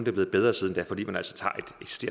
er blevet bedre siden da fordi man altså tager